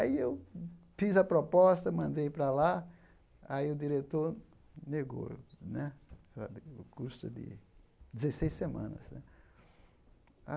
Aí eu fiz a proposta, mandei para lá, aí o diretor negou né o curso de dezesseis semanas né.